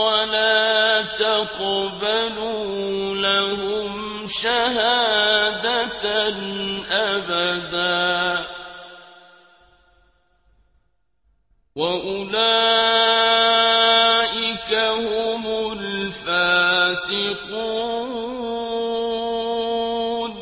وَلَا تَقْبَلُوا لَهُمْ شَهَادَةً أَبَدًا ۚ وَأُولَٰئِكَ هُمُ الْفَاسِقُونَ